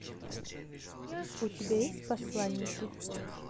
у тебя есть посланники